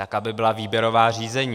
Tak, aby byla výběrová řízení.